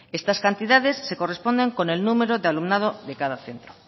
estas cantidades se corresponden con el número de alumnado de cada centro